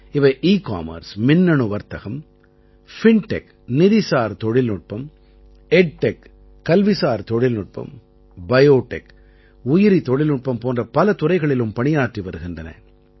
இவை எக்கமர்ஸ் மின்னணு வர்த்தகம் பின்டெக் நிதிசார் தொழில்நுட்பம் எட்டெக் கல்விசார் தொழில்நுட்பம் பயோடெக் உயிரி தொழில்நுட்பம் போன்ற பல துறைகளிலும் பணியாற்றி வருகின்றன